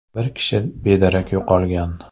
Bir kishi bedarak yo‘qolgan.